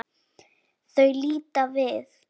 Þau líta við.